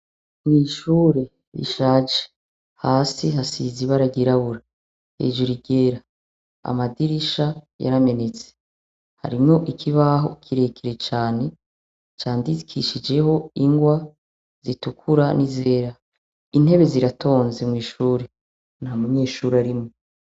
mwishure rishaje hasi hasize ibara ryirabura hejuru iryera amadirisha yaramenetse harimwo ikibaho kirekire cane candikishijeho ingwa zitukura n'izera intebe ziratonze mwishure nta munyeshuri arimwo